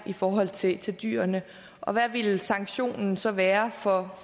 i forhold til til dyrene og hvad ville sanktionen så være for